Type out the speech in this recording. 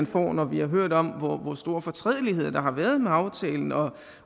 får når vi har hørt om hvor store fortrædeligheder der har været med aftalen og